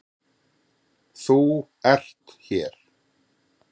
ÞÚ ERT hér.